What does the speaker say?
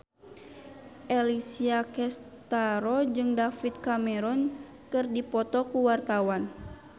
Alessia Cestaro jeung David Cameron keur dipoto ku wartawan